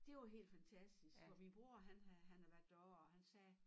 Det var helt fantasisk og min bror han havde han havde været derovre og han sagde